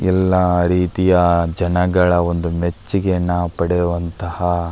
ಎಲ್ಲ ರೀತಿಯ ಜನಗಳ ಒಂದು ಮೆಚ್ಚುಗೆಯನ್ನು ಪಡೆಯುವತಹ --